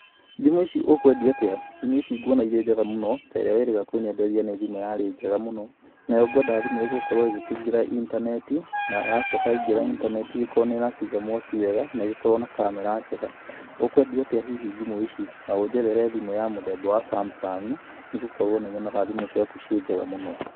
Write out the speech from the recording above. Thimũ ici ũkwendia atĩa, thimũ ici nguona irĩ njega mũno ta ĩrĩa wĩrĩga kũnyenderia nĩ thimũ yarĩ njega mũno, nayo ngwenda thimũ ĩgũgĩkorwo ĩgĩkĩingĩra intaneti na yacoka yaingĩra intaneti, igĩkorwo nĩ ĩrakĩiga mwaki wega, na igĩkorwo na kamera njega, ũkwendia atĩa hihi thimũ ĩci, na ũnjethere thimũ ya mũthemba wa Samsung nĩ gũkorwo nĩ nyonaga thimũ ciaku ciĩ njega mũno.